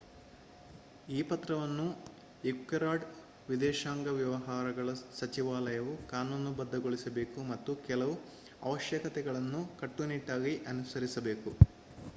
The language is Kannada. ಈ ಪತ್ರವನ್ನು ಈಕ್ವೆಡಾರ್ ವಿದೇಶಾಂಗ ವ್ಯವಹಾರಗಳ ಸಚಿವಾಲಯವು ಕಾನೂನುಬದ್ಧಗೊಳಿಸಬೇಕು ಮತ್ತು ಕೆಲವು ಅವಶ್ಯಕತೆಗಳನ್ನು ಕಟ್ಟುನಿಟ್ಟಾಗಿ ಅನುಸರಿಸಬೇಕು